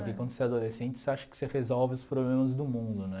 Porque quando você é adolescente, você acha que você resolve os problemas do mundo, né?